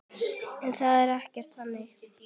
En það er ekkert þannig.